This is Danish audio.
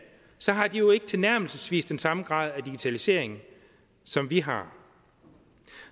så har de jo ikke tilnærmelsesvis den samme grad af digitalisering som vi har